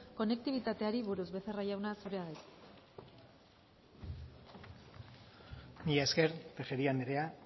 konektibitateari buruz becerra jauna zurea da hitza mila esker tejeria andrea